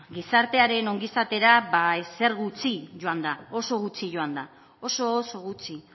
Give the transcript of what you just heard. gizartearen ongizatera ba ezer gutxi joan da oso gutxi joan da oso oso gutxi